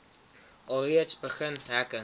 alreeds begin hekke